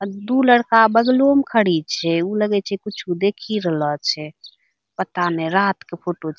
अ दु लड़का बगलो में खड़ी छे | उ लगे छे कुछो देखी रहलो छे | पता नहीं रात के फोटो --